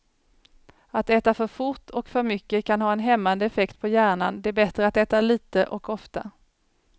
Att äta för fort och för mycket kan ha en hämmande effekt på hjärnan, det är bättre att äta lite och ofta.